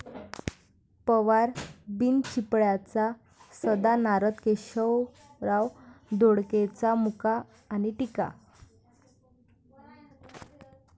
पवार बिनचिपळ्याचा सदा नारद, केशवराव धोंडगेंचा मुका आणि टीका